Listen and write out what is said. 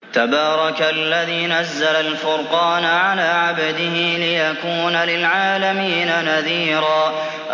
تَبَارَكَ الَّذِي نَزَّلَ الْفُرْقَانَ عَلَىٰ عَبْدِهِ لِيَكُونَ لِلْعَالَمِينَ نَذِيرًا